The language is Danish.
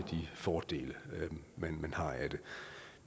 fordele man har af det